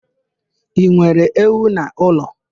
I nwere ewu n'ụlọ?